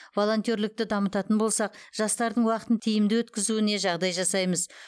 волонтерлікті дамытатын болсақ жастардың уақытын тиімді өткізуіне жағдай жасаймыз